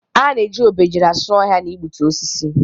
A na-eji obejiri asụ ohia na igbutu osisi.